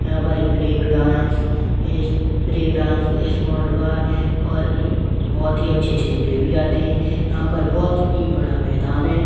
यहां पर break dance a break dance small by और बहुत ही अच्छे अच्छे झूले भी आते है यहां पर बहुत ही बड़ा मैदान है।